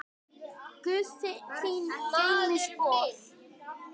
Guð þín geymi spor.